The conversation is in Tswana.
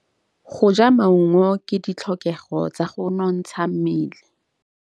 Go ja maungo ke ditlhokegô tsa go nontsha mmele.